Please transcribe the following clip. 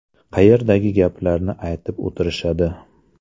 Qayerdagi gaplarni aytib o‘tirishadi.